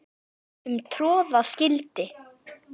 um troða skyldi